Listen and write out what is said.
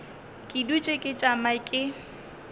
ke dutše ke tšama ke